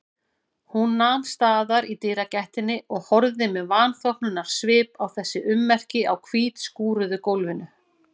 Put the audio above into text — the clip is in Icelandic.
Hún nam staðar í dyragættinni og horfði með vanþóknunarsvip á þessi ummerki á hvítskúruðu gólfinu.